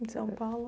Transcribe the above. Em São Paulo?